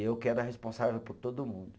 Eu que era responsável por todo mundo.